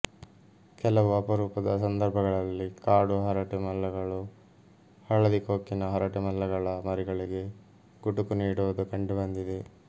ಕೆಲವು ಅಪರೂಪದ ಸಂದರ್ಭಗಳಲ್ಲಿ ಕಾಡು ಹರಟೆಮಲ್ಲಗಳು ಹಳದಿ ಕೊಕ್ಕಿನ ಹರಟೆಮಲ್ಲಗಳ ಮರಿಗಳಿಗೆ ಗುಟುಕು ನೀಡುವುದು ಕಂಡುಬಂದಿದೆ